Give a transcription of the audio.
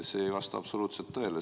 See ei vasta absoluutselt tõele.